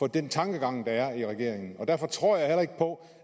den tankegang der er i regeringen derfor tror jeg heller ikke på